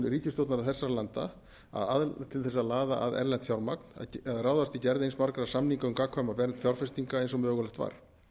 ríkisstjórna þessara landa til þess að laða að erlent fjármagn að ráðast í gerð eins margra samninga um gagnkvæma vernd fjárfestinga og mögulegt var